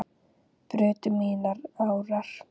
brutu mínar árar